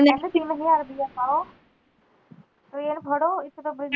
ਮੈਂ ਕਿਹਾ ਤਿੰਨ ਹਜ਼ਾਰ ਰੁਪਇਆ ਖਾਲੋ ਟ੍ਰੇਨ ਫ਼ਰੋ ਇੱਥੇ ਤਾਂ